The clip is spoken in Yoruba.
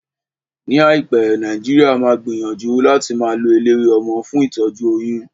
Ní àìpé, Nàìjíríà máa gbìyànjú láti máa lo eléwé ọmọ fún ìtọ́jú oyún